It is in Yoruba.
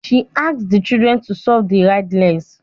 She asked the children to solve the riddles